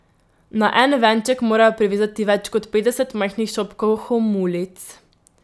Na en venček morajo privezati več kot petdeset majhnih šopkov homulic.